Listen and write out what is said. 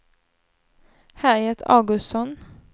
Harriet Augustsson